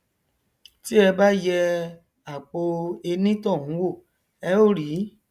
tí ẹ bá yẹ àpọ enítọhún wò ẹ ó rí